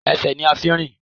Esè ni a n fi n rìn